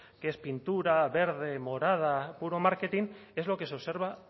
que es pintura verde morada puro marketing es lo que se observa